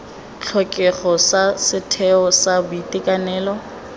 tlhokego sa setheo sa boitekanelo